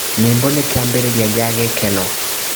Nyĩmbo nĩ kĩambĩrĩria kĩa gĩkeno.